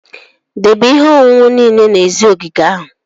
Debe ihe ọṅụṅụ niile n'èzí ogige ahụ!